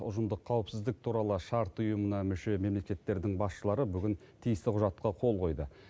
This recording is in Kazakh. ұжымдық қауіпсіздік туралы шарт ұйымына мүше мемлекеттердің басшылары бүгін тиісті құжатқа қол қойды